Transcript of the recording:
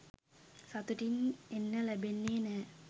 සතුටින් එන්න ලැබෙන්නේ නෑ